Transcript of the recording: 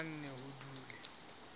ho tla nne ho dule